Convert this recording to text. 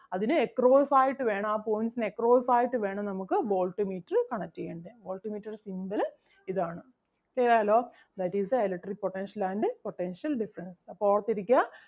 അതിന് across ആയിട്ട് വേണം ആ points ന് across ആയിട്ട് വേണം നമുക്ക് voltmeter connect ചെയ്യാൻ. Voltmeter ൻ്റെ symbol അഹ് ഇതാണ്. Clear ആയല്ലോ. That is the electric potential and potential difference. അപ്പം ഓർത്ത് ഇരിക്കുക.